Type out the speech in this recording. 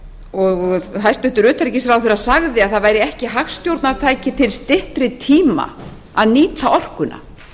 og hæstvirtur utanríkisráðherra sagði að það væri ekki hagstjórnartæki til styttri tíma að nýta orkuna